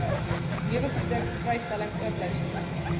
neweproduk vrystelling oorblyfsel